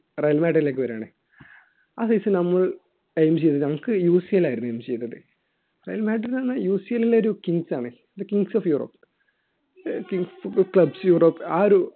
Real മാഡ്രിയിലേക്ക് വരുവാണ് ആ season നമ്മൾ aim ചെയ്തു നമുക്ക് UCL ആയിരുന്നു aim ചെയ്തത് റയൽ മാഡ്രിഡ് അന്ന് UCL ലെ ഒരു kings ആണ് the kings of euro clubs Europe ആ ഒരു